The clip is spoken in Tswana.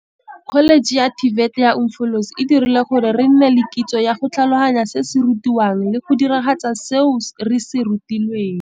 Kholeje ya TVET ya Umfolozi e dirile gore re nne le kitso ya go tlhaloganya se se rutiwang le go diragatsa seo re se rutilweng.